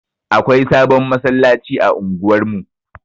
Akwai sabon masallaci a unguwar mu.